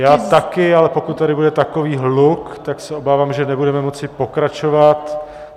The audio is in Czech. Já taky, ale pokud tady bude takový hluk, tak se obávám, že nebudeme moci pokračovat.